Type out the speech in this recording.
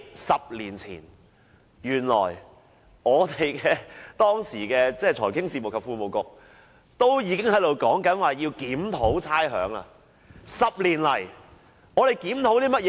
十年前，時任財經事務及庫務局局長已經表示要檢討差餉寬減措施。